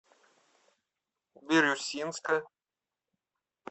бирюсинска